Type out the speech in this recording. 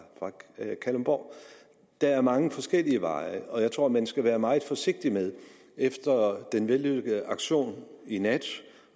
kalundborg der er mange forskellige veje og jeg tror man skal være meget forsigtig med efter den vellykkede aktion i nat